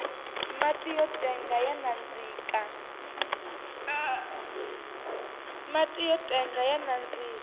mati yo tenga ya nandzika